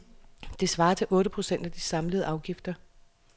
Det svarer til otte procent af de samlede afgifter.